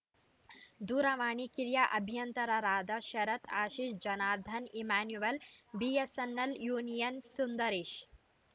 ದೂರವಾಣಿ ಕಿರಿಯ ಅಭಿಯಂತರರಾದ ಶರತ್‌ ಆಶೀಶ್‌ ಜನಾರ್ದನ್‌ ಇಮ್ಯಾನುವೆಲ್‌ ಬಿಎಸ್‌ಎನ್‌ಎಲ್‌ ಯೂನಿಯನ್‌ನ ಸುಂದರೇಶ್‌